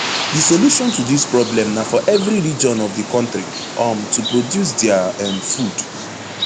di solution to dis problem na for evri region of di kontri um to produce dia um food